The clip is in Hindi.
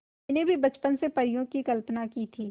मैंने भी बचपन से परियों की कल्पना की थी